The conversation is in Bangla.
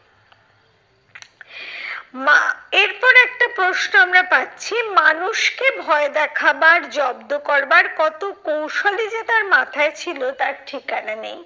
এরপর একটা প্রশ্ন আমরা পাচ্ছি, মানুষকে ভয় দেখাবার জব্দ করবার কত কৌশলই যে তার মাথায় ছিল তার ঠিকানা নেই।